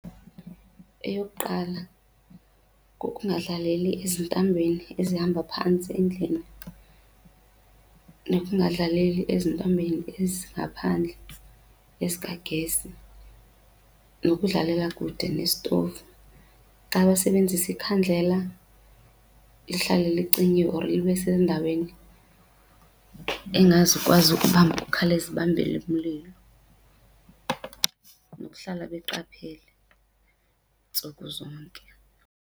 Eyokuqala, kukungadlaleli ezintambeni ezihamba phantsi endlini nokungadlaleli ezintambeni ezingaphandle ezikagesi, nokudlalela kude nesitovu. Xa besebenzisa ikhandlela lihlale lincinyiwe or libe sendaweni engazukwazi ukuba ikhawuleze ibambelele umlilo, nokuhlala beqaphele ntsuku zonke.